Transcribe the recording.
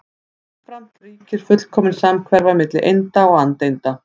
Jafnframt ríkir fullkomin samhverfa milli einda og andeinda.